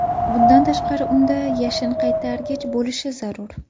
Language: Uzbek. Bundan tashqari, unda yashinqaytargich bo‘lishi zarur.